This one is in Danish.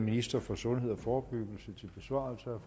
minister for sundhed og forebyggelse til besvarelse af